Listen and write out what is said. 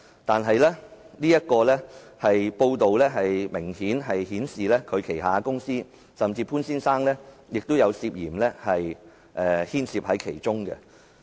但是，這報道明顯顯示他名下的公司甚至潘先生本人也涉嫌牽涉其中。